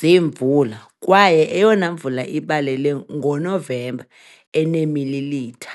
zemvula, kwaye eyona mvula ibalele ngoNovemba, eneemililitha .